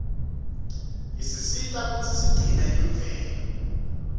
isisita kutsi sigcine imvelo